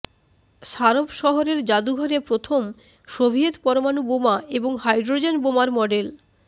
সারভ শহরের যাদুঘরে প্রথম সোভিয়েত পরমাণু বোমা এবং হাইড্রোজেন বোমার মডেল